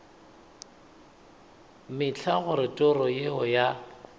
mehla gore toro yeo ya